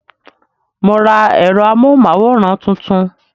Mo ra èrò amóhùn máwòrán tuntun